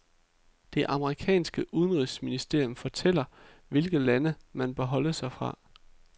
Det amerikanske udenrigsministerium fortæller, hvilke lande man bør holde sig fra.